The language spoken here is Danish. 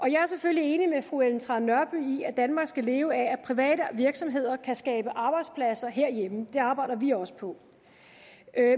jeg er selvfølgelig enig med fru ellen trane nørby i at danmark skal leve af at private virksomheder kan skabe arbejdspladser herhjemme det arbejder vi også på